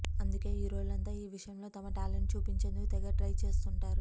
అందుకే హీరోలంతా ఈ విషయంలో తమ ట్యాలెంట్ చూపించేందుకు తెగ ట్రై చేస్తుంటారు